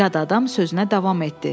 Yad adam sözünə davam etdi.